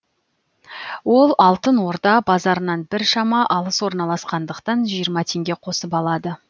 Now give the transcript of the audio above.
ол алтын орда базарынан біршама алыс орналасқандықтан жиырма теңге қосып алады